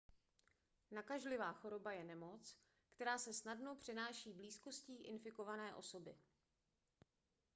nakažlivá choroba je nemoc která se snadno přenáší blízkostí infikované osoby